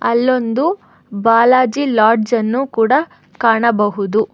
ಅಲ್ಲೊಂದು ಬಾಲಾಜಿ ಲಾಡ್ಜ್ ಅನ್ನು ಕೂಡ ಕಾಣಬಹುದು.